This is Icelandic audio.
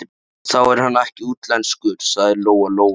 Þá er hann ekkert útlenskur, sagði Lóa Lóa.